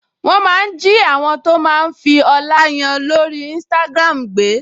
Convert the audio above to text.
Wọ́n máa ń jí àwọn tó máa ń fi ọlá yan lórí Instagram gbé